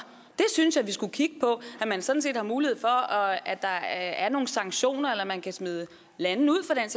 det synes jeg vi skulle kigge på at man sådan set har mulighed for at der er nogle sanktioner eller at man kan smide lande ud for den